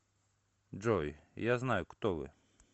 джой я знаю кто вы